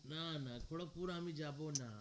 না না খড়্গপুর আমি যাবো না